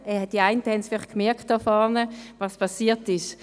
Die einen oder anderen hier vorne haben vielleicht gemerkt, was passiert ist.